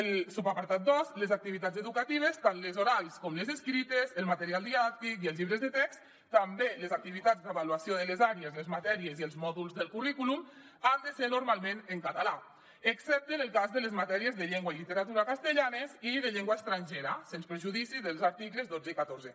el subapartat dos les activitats educatives tant les orals com les escrites el material didàctic i els llibres de text també les activitats d’avaluació de les àrees les matèries i els mòduls del currículum han de ser normalment en català excepte en el cas de les matèries de llengua i literatura castellanes i de llengua estrangera sens perjudici dels articles dotze i catorze